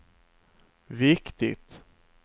viktigt